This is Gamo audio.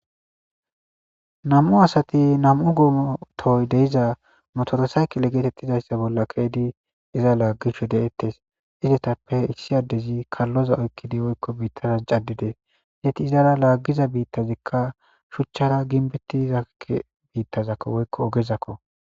Nam'u asati nam'u goma tohoy de'za motorsaykile getetizaysa bola ke'idi iza lagishe de'etes izetappe issi adezi kaloza oyqidi woyko bitara c'adidi eti izara lagiza bitazika shuchara gimbetiza bitazako woyko gezako.